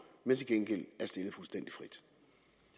men til gengæld